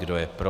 Kdo je pro?